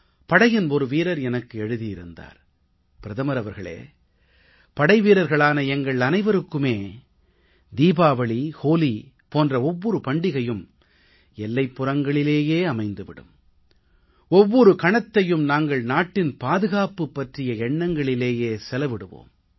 படையின் ஒரு வீரர் எனக்கு எழுதியிருந்தார் பிரதமர் அவர்களே படைவீரர்களான எங்கள் அனைவருக்குமே தீபாவளி ஹோலி போன்ற ஒவ்வொரு பண்டிகையும் எல்லைப்புறங்களிலேயே அமையும் ஒவ்வொரு கணத்தையும் நாங்கள் நாட்டின் பாதுகாப்பு பற்றிய எண்ணங்களிலேயே செலவிடுவோம்